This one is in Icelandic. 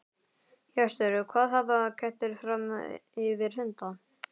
Hjörtur: Hvað hafa kettir fram yfir hunda?